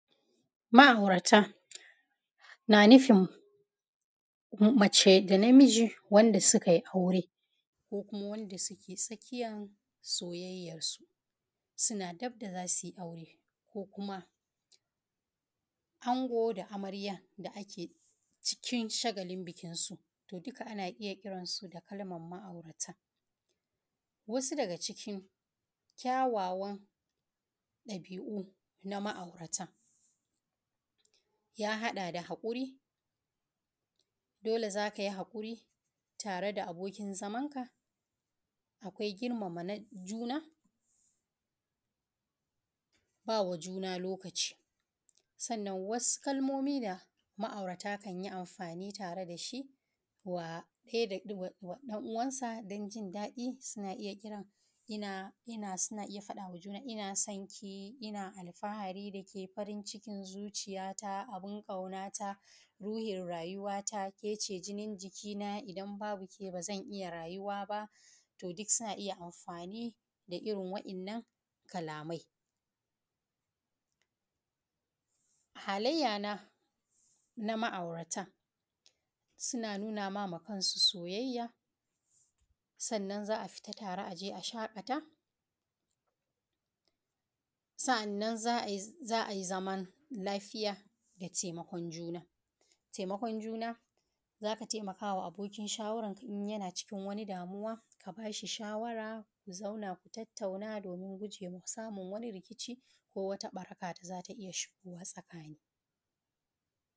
Ma’aurata na nufin mace da namiji wanda suka yi aure, ko kuma wanda suke tsakiyan soyayyarsu suna gab da za su yi aure, ko kuma Ango da Amarya da ake cikin shagalin bikinsu. To, duka ana iya kirasu da kalmar Ma’aurata. Wasu daga cikin ƙyawawan ɗabi’u na Ma’aurata ya haɗa da Haƙuri dole ne za ka yi haƙuri tare da abokin zamanka akwai Girmama juna – sa’annan ba juna lokaci da girmama wuyan juna sannan, akwai wasu kalmomi da Ma’aurata ke amfani da su tare da juna don jin daɗi: Ina sanki. Ina alfahari da ke. Farin cikin zuciyata. Abun ƙaunata. Ruhin rayuwata, ke ce Jinin jikina. Idan babu ke, ba zan iya rayuwa ba. To, duk wannan suna ƙariyar soyayya. Halayyar Ma’aurata suna nuna ma kansu soyayya, su fita tare, su je su shaƙata, su yi zaman lafiya da taimakon juna. Taimakon juna, za ka taimaka wa abokin zamanka idan yana cikin damuwa, ka ba shi shawara, ku zauna, ku tattauna don gujewa samun wani rikici ko ɓaraka da za ta iya shigowa tsakani.